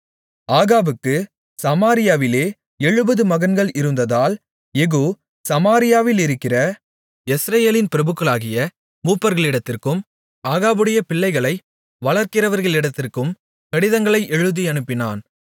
ஆகாபுக்குச் சமாரியாவிலே எழுபது மகன்கள் இருந்ததால் யெகூ சமாரியாவிலிருக்கிற யெஸ்ரயேலின் பிரபுக்களாகிய மூப்பர்களிடத்திற்கும் ஆகாபுடைய பிள்ளைகளை வளர்க்கிறவர்களிடத்திற்கும் கடிதங்களை எழுதியனுப்பினான்